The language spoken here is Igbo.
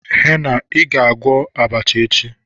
Henna l, Ị ga-agwọ abacha echi?